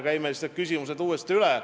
Käime siis need küsimused uuesti üle.